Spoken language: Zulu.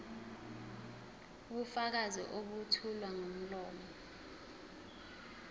ubufakazi obethulwa ngomlomo